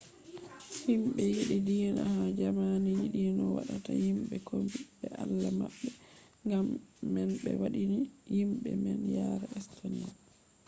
himɓe yiɗi diina ha jamani yiɗino wadda himɓe kombi be allah maɓɓe gam man ɓe waddini himɓe man yare estoniya